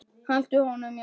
Og haltu honum Jón.